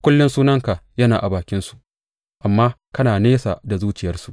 Kullum sunanka yana a bakinsu amma kana nesa da zuciyarsu.